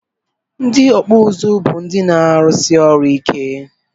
Ndị ọkpụ ụzụ bụ ndị na-arụsi ọrụ ike